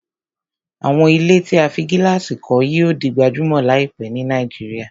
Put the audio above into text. Àwọn ilé tí a fí gílàsì kọ́ yíò di gbajúmọ̀ láìpẹ́ ni Nàìjíríà